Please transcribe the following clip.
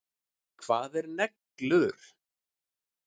Hvað eru neglur?